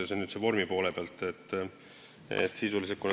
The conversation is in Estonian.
See on nüüd vormi poole pealt.